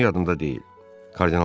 Ancaq günü yadımda deyil.